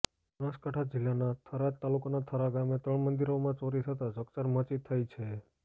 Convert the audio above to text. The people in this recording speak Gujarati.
બનાસકાંઠા જીલ્લાના થરાદ તાલુકાના થરા ગામે ત્રણ મંદીરોમાં ચોરી થતાં ચકચાર મચી થઇ છે